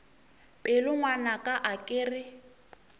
pelo ngwanaka a ke re